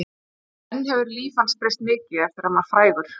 En hefur líf hans breyst mikið eftir að hann varð frægur?